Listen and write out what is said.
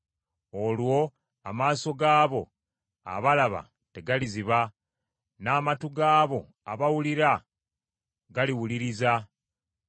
Olwo amaaso gaabo abalaba tegaliziba, n’amatu g’abo abawulira galiwuliriza.